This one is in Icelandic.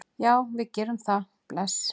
Já, við gerum það. Bless.